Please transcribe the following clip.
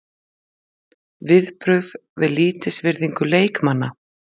Viðbrögð við lítilsvirðingu leikmanna?